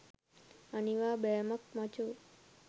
අනිවා බෑමක් මචෝ